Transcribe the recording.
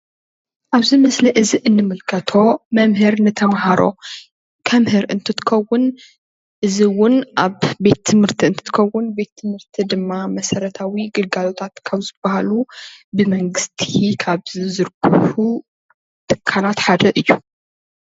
ኣብዚ ምስሊ እዚ እንምልከቶ መምህር ንተምሃሮ ከምህር እንትትከውን እዚ እዉ ኣብ ቤት ትምህርት እንትትከዉን ቤት ትምህርቲ ድማ መሰረታዊ ግልጋሎት ካብ ዝበሃሉ ብ መንግስቲ ካብ ዝዝርግሑ ትካላት ሓደ እዩ።